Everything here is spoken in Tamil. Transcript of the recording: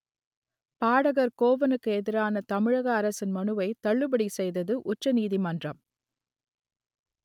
பாடகர் கோவனுக்கு எதிரான தமிழக அரசின் மனுவை தள்ளுபடி செய்தது உச்ச நீதிமன்றம்